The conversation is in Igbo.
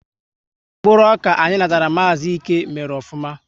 Mkpụrụ ọka anyị natara Maazi Íke mèrè ofụma